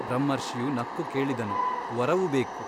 ಬ್ರಹ್ಮರ್ಷಿಯು ನಕ್ಕು ಕೇಳಿದನು ವರವು ಬೇಕು.